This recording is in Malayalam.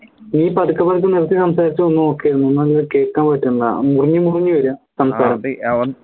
നീ പതുക്കെ പതുക്കെ നിർത്തി സംസാരിച് ഒന്ന് നോക് കേൾക്കാൻ പറ്റണില്ല മുറിഞ്ഞ മുറിഞ്ഞു വരിക